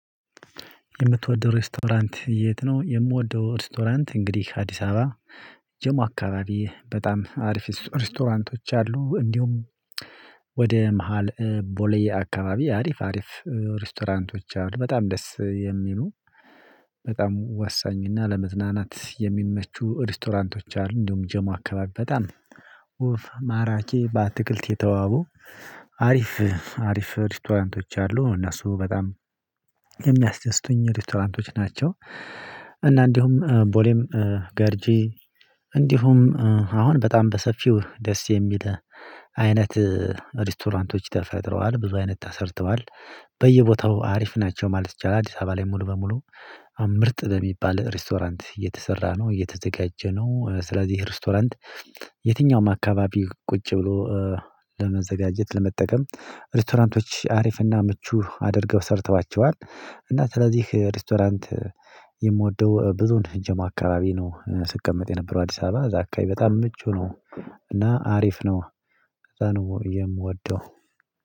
የምትወደው ሬስቶራንት የት? ነው የምወደው ሬስቶራንት እንግዲህ አዲስ አበባ ጀሞ አካባቢ በጣም አሪፍ ሬስቶራንቶች አሉ። እንዲሁም ወደ መሃል ቦሌ አካባቢ አሪፍ አሪፍ ሬስቶራንቶች አሉ በጣም ደስ የሚሉ። በጣም ወሳኝ እና ለመዝናናት የሚመቹ ሬስቶራንቶች አሉ። እንዲሁም ጀሞ አከባብ በጣም ኡፍ ማራኬ በትክልት የተዋቡ። አሪፍ አሪፍ ሪቶራንቶች አሉ እነሱ በጣም የሚያስደስቱኝ ሬቶራንቶች ናቸው። እና እንዲሁም ቦሌም ገርጂ እንዲሁም አሁን በጣም በሰፊው ደስ የሚል አይነት ሬስቶራንቶች ተፈጥረዋል ብዙ አይነት ተሰርተዋል። በየቦታው አሪፍ ናቸው ማለት ይቻላል። አዲስ አበባ ላይ ሙሉ በሙሉ ምርጥ በሚባል ሬስቶራንት እየተሰራ ነው እየተዘጋጀ ነው። ስለዚህ ሬስቶራንት የትኛውም አካባቢ ቁጭ ብሎ ለመዘጋጀት ለመጠቀም ሬስቶራንቶች አሪፍና ምቹ አድርገው ሰርተዋቸዋል። እና ስለዚህ ሬስቶራንት የምወደው ብዙን ጀሞ አካባቢ ነው። ስቀመጥ የነበረው አዲስ አበባ እዛ አካባቢ በጣም ምቹ ነው። እና አሪፍ ነው። ለዛ ነው የምወደው።